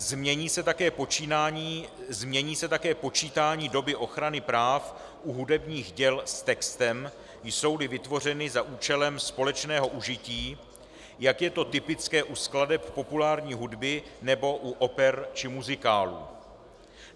Změní se také počítání doby ochrany práv u hudebních děl s textem, jsou-li vytvořeny za účelem společného užití, jak je to typické u skladeb populární hudby nebo u oper či muzikálů.